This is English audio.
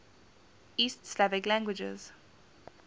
east slavic languages